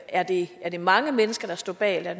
er det er det mange mennesker der står bag eller